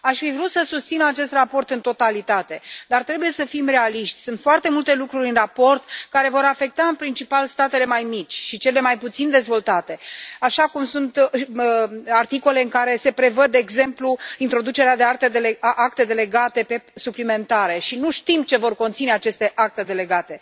Aș fi vrut să susțin acest raport în totalitate, dar trebuie să fim realiști sunt foarte multe lucruri în raport care vor afecta în principal statele mai mici și cele mai puțin dezvoltate, așa cum sunt articole în care se prevăd exemplu introducerea de acte delegate suplimentare și nu știm ce vor conține aceste acte delegate.